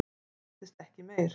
Svo heyrðist ekkert meir.